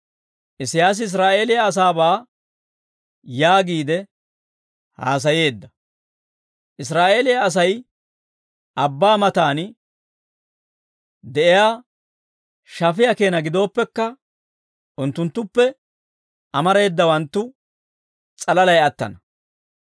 Isiyaasi Israa'eeliyaa asaabaa yaagiide haasayeedda; «Israa'eeliyaa Asay abbaa matan de'iyaa shafiyaa keena gidooppekka, unttunttuppe amareedawanttu s'alalay attana.